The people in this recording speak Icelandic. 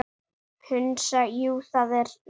Hansa: Jú, það er rétt.